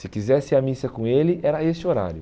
Se quisesse ir à missa com ele, era a esse horário.